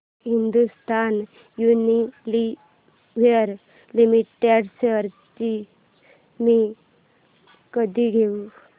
Hindustan Unilever limited shares मी कधी घेऊ